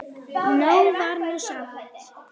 Nóg var nú samt.